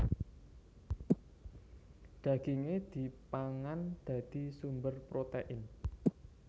Dagingé dipangan dadi sumber protein